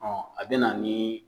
Ɔ a bɛ na ni